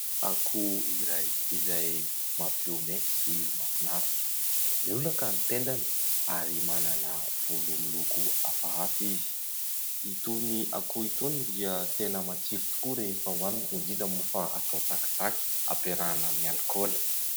Akoho iray izay mampihomehy sy mahafinaritra. Miolaka ny tendany ary manana volo miloko hafahafa izy. Itony akoho itony dia tena matsiro tokoa rehefa hohanina indrindra moa fa atao tsakitsaky ampiarahana amin'ny alikaola.